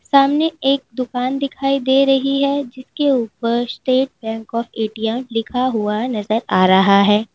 सामने एक दुकान दिखाई दे रही है जिसके उपर स्टेट बैंक का ए_टी_एम लिखा हुआ नजर आ रहा है।